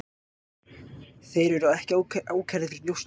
Þeir eru ekki ákærðir fyrir njósnir